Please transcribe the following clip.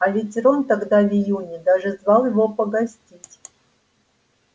а ведь рон тогда в июне даже звал его погостить